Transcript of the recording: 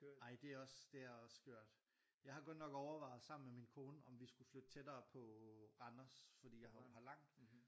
Ej det er også det er også skørt. Jeg har godt nok overvejet sammen med min kone om vi skulle flytte tættere på Randers fordi jeg jo har langt